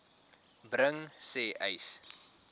bring sê uys